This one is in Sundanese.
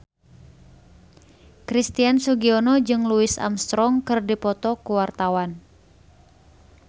Christian Sugiono jeung Louis Armstrong keur dipoto ku wartawan